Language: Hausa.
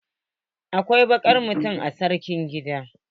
Akwai wata bakar mota a sakar gidan.